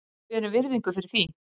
Við berum virðingu fyrir því.